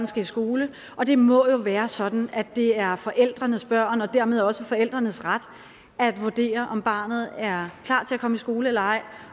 skal i skole og det må jo være sådan at det er forældrenes børn og dermed også forældrenes ret at vurdere om barnet er klar til at komme i skole eller ej